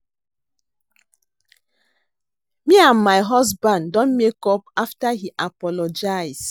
Me and my husband don make up after he apologize